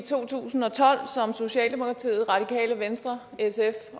to tusind og tolv som socialdemokratiet radikale venstre sf